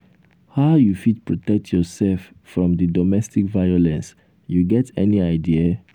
how you fit protect yourself from di domestic violence you get any idea?